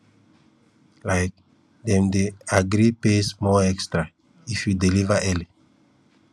um dem dey agree pay small extra if you deliver early